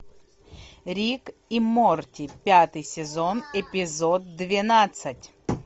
рик и морти пятый сезон эпизод двенадцать